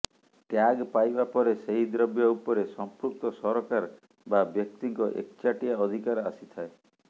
tag ପାଇବା ପରେ ସେହି ଦ୍ରବ୍ୟ ଉପରେ ସମ୍ପୃକ୍ତ ସରକାର ବା ବ୍ୟକ୍ତିଙ୍କ ଏକଚାଟିଆ ଅଧିକାର ଆସିଥାଏ